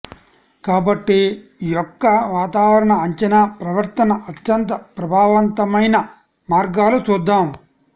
కాబట్టి యొక్క వాతావరణ అంచనా ప్రవర్తన అత్యంత ప్రభావవంతమైన మార్గాలు చూద్దాం